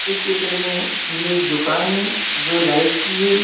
इस चित्र में ये एक दुकान है जो लाइट की है।